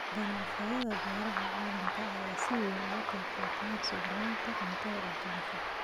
Ganacsiyada beeraha ee caalamka ayaa si weyn uga qayb qaata sugnaanta cuntada aduunka.